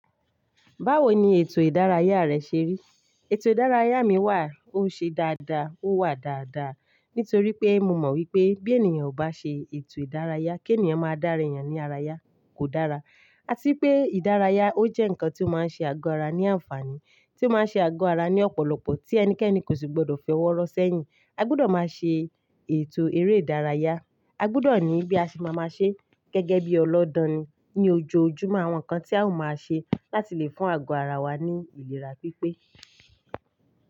Báwo ni ètò ìdárayá rẹ ṣe rí? Ètò ìdárayá mi wà ó ṣe dáadáa, ó wà dáadáa nítorí pé mo mọ̀ wípé bí ènìyàn ò bá ṣe ètò ìdárayá, kí ènìyàn máa dáre èyàn ní ara yá kò dára. A tí pé ìdárayá ó jẹ́ ǹkan tí ó máa ń ṣe àgọ́ ara ní àǹfààní, tí ó máa ń ṣe àgọ́ ara ní ọ̀pọ̀lọpọ̀ tí ẹnikẹ́ni kò sì gbọdọ̀ fi owọ́ rọ sẹ́yìn. A gbọdọ̀ máa ṣe ètò eré ìdárayá. A gbọdọ̀ ní bí a ṣe máa máa ṣe gẹ́gẹ́ bí ọlọ́dọni ní ojoojúmọ́ àwọn ǹkan tí à o máa ṣe láti lè fún àgọ́ ara wa ní ìlera pípé.